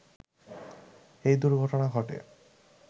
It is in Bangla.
এই দূর্ঘটনা ঘটে